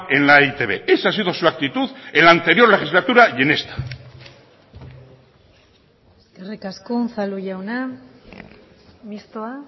en la e i te be esa ha sido su actitud en la anterior legislatura y en esta eskerrik asko unzalu jauna mistoa